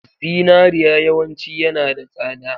Zinariya yawanci yanada tsada